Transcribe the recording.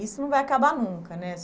Isso não vai acabar nunca né.